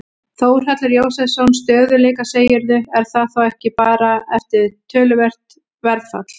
Þórhallur Jósefsson: Stöðugleika segirðu, er það þá ekki bara eftir töluvert verðfall?